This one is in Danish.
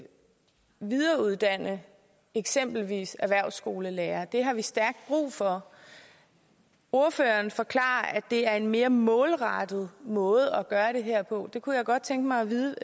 videreuddanne eksempelvis erhvervsskolelærere det har vi stærkt brug for ordføreren forklarer at det er en mere målrettet måde at gøre det her på det kunne jeg godt tænke mig at vide